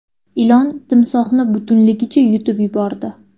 Ilon timsohni butunligicha yutib yubordi .